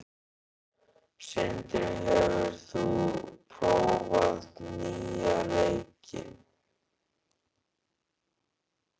Sindri, hefur þú prófað nýja leikinn?